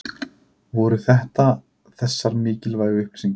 Voru þetta þessar mikilvægu upplýsingar?